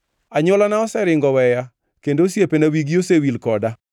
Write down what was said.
Anywolana oseringo oweya; kendo osiepena wigi osewil koda.